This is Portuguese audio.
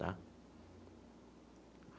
Tá?